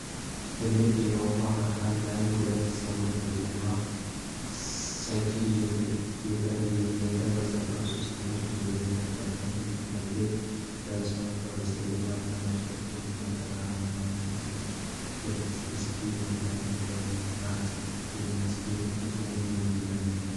ትልቅ የውሃ አካል ላይ ሁለት ሰዎች በጀተ ስኪ እየተንቀሳቀሱ። ሰዎቹ የደህንነት ማስጠንቀቂያ ጃኬት ለብሰዋል። ከበስተጀርባ ትናንሽ ጀልባዎች እና የተራራማ መሬት አለ። ጀተ ስኪ መንዳት የሚያስገኛቸው ጥቅሞች ምንድን ናቸው?